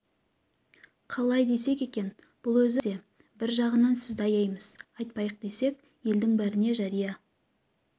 қалай десек екен бұл өзі қиын нәрсе бңр жағынан сізді аяймыз айтпайық десек елдің бәріне жария